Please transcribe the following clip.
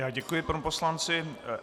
Já děkuji panu poslanci.